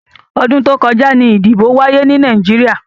Ọdún tó kọjá ni ìdìbò wáyé ni Nàìjíríà.